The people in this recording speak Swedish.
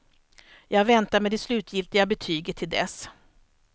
Jag väntar med det slutgiltiga betyget till dess.